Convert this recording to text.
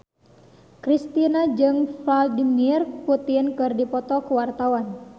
Kristina jeung Vladimir Putin keur dipoto ku wartawan